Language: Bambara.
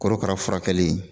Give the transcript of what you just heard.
Korokaraw furakɛli